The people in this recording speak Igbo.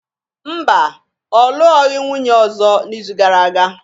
Mba, ọ lụọghị nwunye ọzọ n’izu gara aga